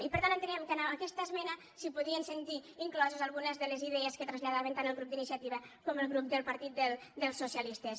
i per tant enteníem que amb aquesta esme·na s’hi podien sentir incloses algunes de les idees que traslladaven tant el grup d’iniciativa com el grup del partit dels socialistes